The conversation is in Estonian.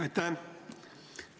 Aitäh!